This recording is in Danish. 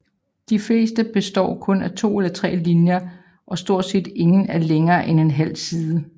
De fleste består kun af to eller tre linjer og stort set ingen er længere end en halv side